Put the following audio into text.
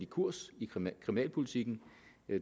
kurs i kriminalpolitikken